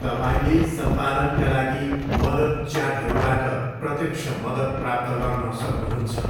तपाईँले सम्पादनका लागि मद्दत च्याटरूबाट प्रत्यक्ष मद्दत प्राप्त गर्न सक्नुहुन्छ।